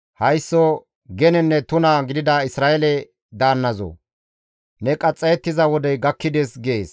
« ‹Haysso genenne tuna gidida Isra7eele daannazoo! Ne qaxxayettiza wodey gakkides› gees;